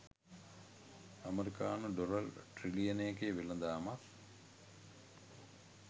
ඇමරිකානු ඩොලර් ට්‍රිලියනයක වෙළඳාමක්